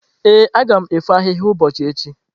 Ee, aga m efo ahịhịa n’ubi echi.